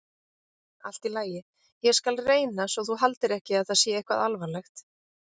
Allt í lagi, ég skal reyna svo þú haldir ekki að það sé eitthvað alvarlegt.